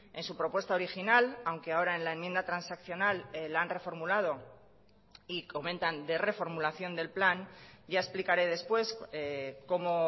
en su propuesta original aunque ahora en la enmienda transaccional la han reformulado y comentan de reformulación del plan ya explicaré después cómo